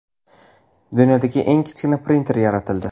Dunyodagi eng kichkina printer yaratildi.